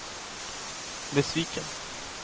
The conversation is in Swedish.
besviken